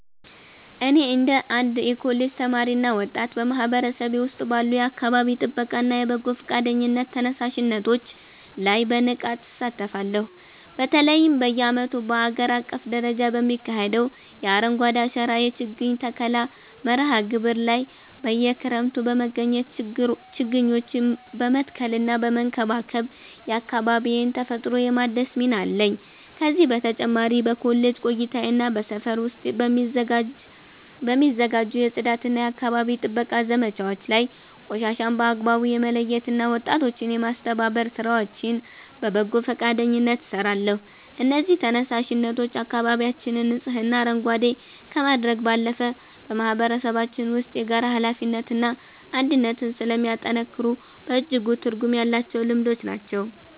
እኔ እንደ አንድ የኮሌጅ ተማሪና ወጣት፣ በማህበረሰቤ ውስጥ ባሉ የአካባቢ ጥበቃና የበጎ ፈቃደኝነት ተነሳሽነቶች ላይ በንቃት እሳተፋለሁ። በተለይም በየዓመቱ በአገር አቀፍ ደረጃ በሚካሄደው የ“አረንጓዴ አሻራ” የችግኝ ተከላ መርሃ ግብር ላይ በየክረምቱ በመገኘት ችግኞችን በመትከልና በመንከባከብ የአካባቢዬን ተፈጥሮ የማደስ ሚና አለኝ። ከዚህ በተጨማሪ በኮሌጅ ቆይታዬና በሰፈር ውስጥ በሚዘጋጁ የጽዳትና የአካባቢ ጥበቃ ዘመቻዎች ላይ ቆሻሻን በአግባቡ የመለየትና ወጣቶችን የማስተባበር ሥራዎችን በበጎ ፈቃደኝነት እሰራለሁ። እነዚህ ተነሳሽነቶች አካባቢያችንን ንጹህና አረንጓዴ ከማድረግ ባለፈ፣ በማህበረሰባችን ውስጥ የጋራ ኃላፊነትንና አንድነትን ስለሚያጠናክሩ በእጅጉ ትርጉም ያላቸው ልምዶች ናቸው።